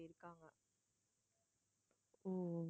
ஓ ஓ